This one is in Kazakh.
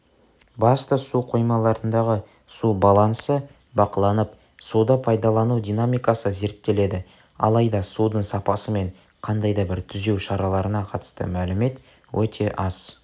басты су қоймаларындағы су балансы бақыланып суды пайдалану динамикасы зерттеледі алайда судың сапасы мен қандай да бір түзеу шараларына қатысты мәлімет өте аз